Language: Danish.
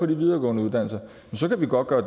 de videregående uddannelser så kan vi godt gøre